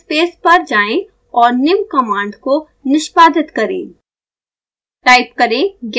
scilab workspace पर जाएँ और निम्न कमांड को निष्पादित करें